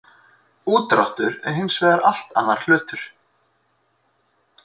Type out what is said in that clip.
Úrdráttur er hins vegar allt annar hlutur.